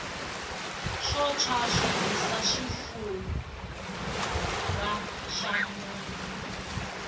swo tshwa swi hisa xifufa xa munhu